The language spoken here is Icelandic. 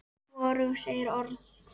Hvorug segir orð.